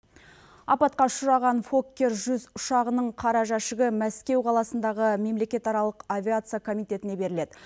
апатқа ұшыраған фоккер жүз ұшағының қара жәшігі мәскеу қаласындағы мемлекетаралық авиация комитетіне беріледі